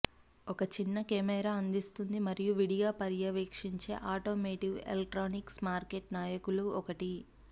ఒక చిన్న కెమెరా అందిస్తుంది మరియు విడిగా పర్యవేక్షించే ఆటోమోటివ్ ఎలక్ట్రానిక్స్ మార్కెట్ నాయకులు ఒకటి